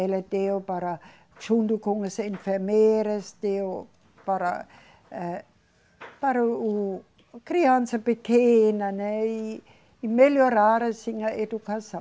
Ela deu para, junto com as enfermeiras, deu para eh, para o, o, criança pequena, né, e melhorar assim a educação.